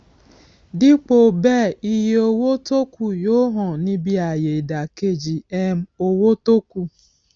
dípò bẹẹ iye owó tókù yóò hàn níbí ayé ìdàkejì um owó tókù